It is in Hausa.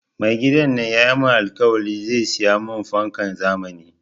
Mai gidana ya mun alkawari zai saya mun fankan zamani